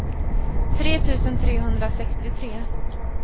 tre tusen trehundrasextiotre